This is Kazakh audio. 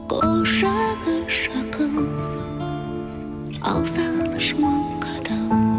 құшағы жақын ал сағыныш мың қадам